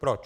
Proč?